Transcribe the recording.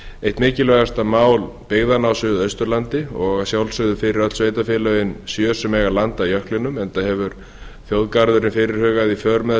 eitt mikilvægasta mál byggðanna á suðausturlandi og að sjálfsögðu fyrir öll sveitarfélögin sjö sem eiga land að jöklinum enda hefur þjóðgarðurinn fyrirhugaði í för með